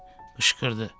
Qışqırdı.